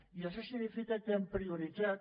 i això significa que hem prioritzat